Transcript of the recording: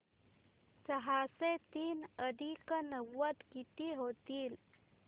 सहाशे तीन अधिक नव्वद किती होतील